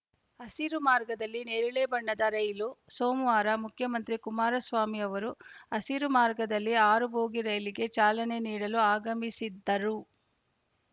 ಹಸಿರು ಮಾರ್ಗದಲ್ಲಿ ನೇರಳೆ ಬಣ್ಣದ ರೈಲು ಸೋಮವಾರ ಮುಖ್ಯಮಂತ್ರಿ ಕುಮಾರಸ್ವಾಮಿ ಅವರು ಹಸಿರು ಮಾರ್ಗದಲ್ಲಿ ಆರು ಬೋಗಿ ರೈಲಿಗೆ ಚಾಲನೆ ನೀಡಲು ಆಗಮಿಸಿದ್ದರು